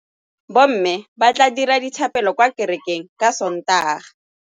Bommê ba tla dira dithapêlô kwa kerekeng ka Sontaga.